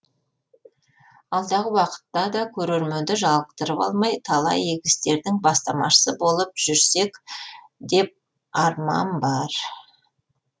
алдағы уақытта да көрерменді жалықтырып алмай талай игі істердің бастамашысы болып жүрсек деп арман бар